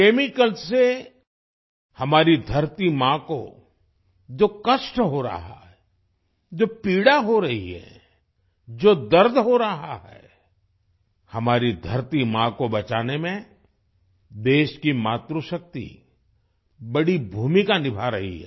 chemical से हमारी धरती माँ को जो कष्ट हो रहा है जो पीड़ा हो रही है जो दर्द हो रहा है हमारी धरती माँ को बचाने में देश की मातृशक्ति बड़ी भूमिका निभा रही है